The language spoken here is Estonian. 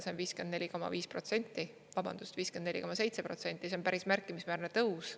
See on 54,5%, vabandust, 54,7%, see on päris märkimisväärne tõus.